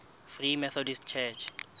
free methodist church